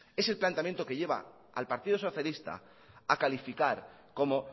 es el planteamiento que lleva al partido socialista a calificar como